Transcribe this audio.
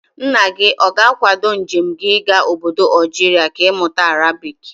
Nna gị ọ ga-akwado njem gị ịga ọbọdọ Algeria ka ị mụta Arabic?